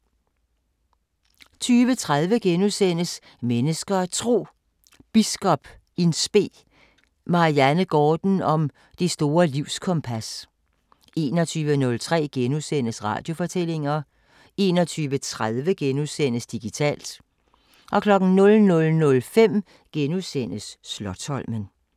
20:30: Mennesker og Tro: Biskop in spe Marianne Gaarden om det store livskompas * 21:03: Radiofortællinger * 21:30: Digitalt * 00:05: Slotsholmen *